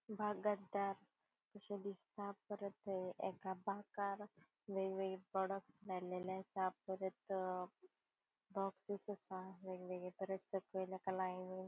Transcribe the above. अशे दिसता परत एका बाकार वेगवेगळे प्रॉडक्ट लायलेले असा परत असा वेगवेगळे परत --